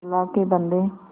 अल्लाह के बन्दे